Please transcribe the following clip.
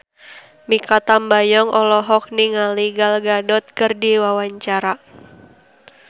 Mikha Tambayong olohok ningali Gal Gadot keur diwawancara